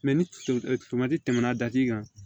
ni tɛmɛna kan